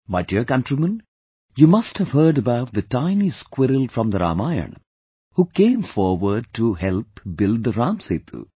My dear countrymen, you must have heard about the tiny squirrel from the Ramayana, who came forward to help build the Ram Setu